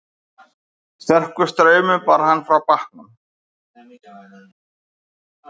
Sterkur straumur bar hann frá bátnum